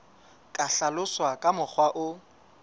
ka hlaloswa ka mokgwa o